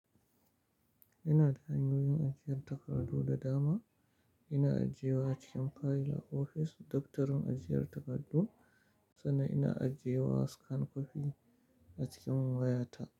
Ina ta'amyoyin ajiyar takardu da dama, ina ajiye wa cikin fayil a ofis, doktorin ajiyar takardu, sannan ina ajiye wa scan kofi a cikin wayata.